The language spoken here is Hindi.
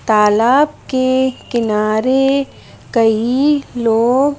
तालाब के किनारे कई लोग --